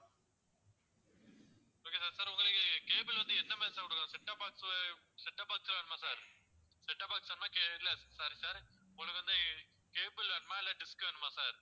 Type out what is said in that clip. okay sir sir உங்களுக்கு cable வந்து எந்த மாதிரி sir கொடுக்கணும் setup box setup box வேணுமா sir setup box வேணுமா sir உங்களுக்கு வந்து cable வேணுமா இல்ல dish வேணுமா sir